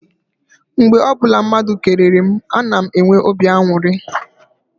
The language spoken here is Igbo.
Mgbe ọbụla mmadụ kelere mụ, a na m enwe obi aṅụrị.